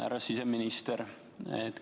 Härra siseminister!